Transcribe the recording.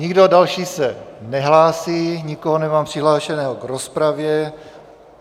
Nikdo další se nehlásí, nikoho nemám přihlášeného v rozpravě.